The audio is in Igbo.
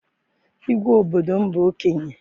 Igwe obodo m bụ okenye.